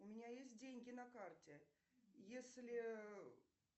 у меня есть деньги на карте если